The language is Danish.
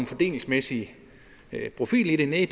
fordelingsmæssig profil i det næh